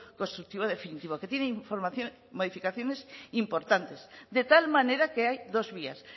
constructivo definitivo que tiene información y modificaciones importantes de tal manera que hay dos vías